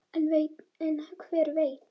En hver veit!